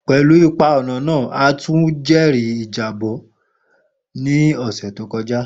Pelu ipa ọna-ọna, a tun jẹri ijabọ ni ọsẹ to kọja.